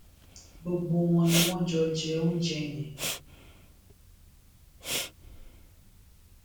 gbogbo wọn ni wọn jọ jẹ oúnjẹ yẹn